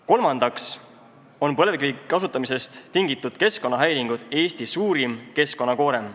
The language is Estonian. Kolmandaks on põlevkivi kasutamisest tingitud keskkonnahäiringud Eesti suurim keskkonnakoorem.